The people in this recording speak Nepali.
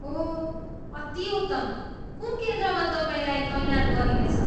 ओह, अति उत्तम! कुन केन्द्रमा तपाईँलाई तैनात गरिनेछ?